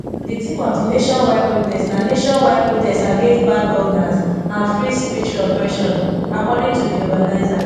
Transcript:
di theme of di nationwide protest na nationwide protest against bad governance and free speech suppression according to di organisers